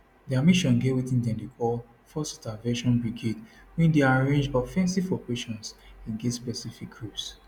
dia mission get wetin dem dey call force intervention brigade wey dey arrange offensive operations against specific groups